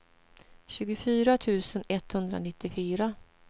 tjugofyra tusen etthundranittiofyra